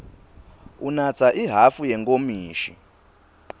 unatsa ihhafu yenkomishi